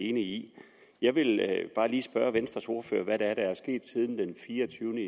enige i jeg vil bare lige spørge venstres ordfører om hvad det er der er sket siden den fireogtyvende